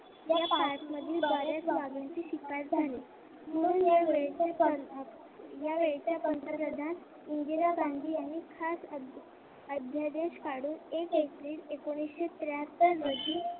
या parts मधून बरेच वाघांचे शिकार झाले. या वेळेच्या पंतप्रधान इंदीरा गांधी यांनी खास अध्यादेश काढून एक एप्रिल एकोणविशे त्रेहात्तर रोजी